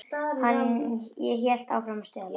Ég hélt áfram að stela.